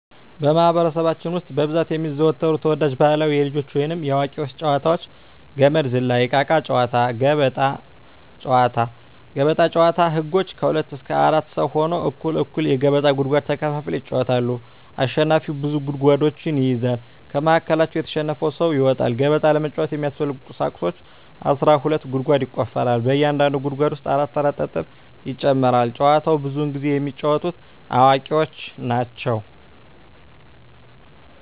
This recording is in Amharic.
በማህበረሰባችን ውስጥ በብዛት የሚዘወተሩ ተወዳጅ ባህላዊ የልጆች ወይንም የአዋቂዎች ጨዋታዎች - ገመድ ዝላይ፣ እቃቃ ጨዎታ፣ ገበጣ። ገበጣ ጨዎታ ህጎች ከሁለት እስከ አራት ሰው ሁነው እኩል እኩል የገበጣ ጉድጓድ ተከፋፍለው ይጫወታሉ አሸናፊው ብዙ ጉድጓዶችን ይይዛል ከመሀከላቸው የተሸነፈው ሰው ይወጣል። ገበጣ ለመጫወት የሚያስፈልጊ ቁሳቁሶች አስራ ሁለት ጉድጓድ ይቆፈራል በእያንዳንዱ ጉድጓድ ውስጥ አራት አራት ጠጠር ይጨመራል። ጨዎቸውን ብዙውን ጊዜ የሚጫወቱት አዋቂዎች ናቸው።